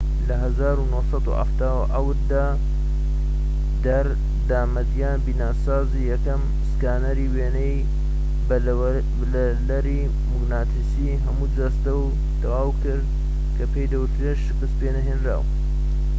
لە ١٩٧٧ دا در. دامەدیان بیناسازیی یەکەم سکانەری وێنە بە لەرەی موگناتیسیی هەموو جەستە"ی تەواو کرد کە پێی بوت شکست پێنەهێنراو